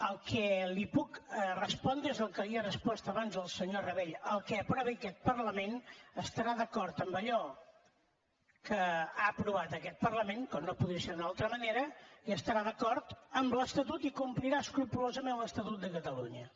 el que li puc respondre és el que li he respost abans al senyor rabell el que aprovi aquest parlament estarà d’acord amb allò que ha aprovat aquest parlament com no podria ser d’una altra manera i estarà d’acord amb l’estatut i complirà escrupolosament l’estatut de catalunya